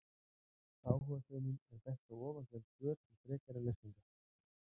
Áhugasömum er bent á ofangreind svör til frekari lesningar.